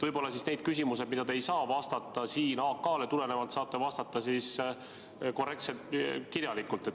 Võib-olla nendele küsimustele, millele te ei saa AK‑märke tõttu vastata, saate vastata korrektselt kirjalikult.